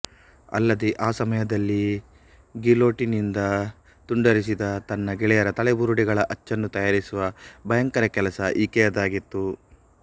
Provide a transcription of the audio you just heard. ಅಲ್ಲದೆ ಆ ಸಮಯದಲ್ಲಿ ಗಿಲೋಟೀನಿನಿಂದ ತುಂಡರಿಸಿದ ತನ್ನ ಗೆಳೆಯರ ತಲೆಬುರುಡೆಗಳ ಅಚ್ಚನ್ನು ತಯಾರಿಸುವ ಭಯಂಕರ ಕೆಲಸ ಈಕೆಯದಾಗಿತ್ತು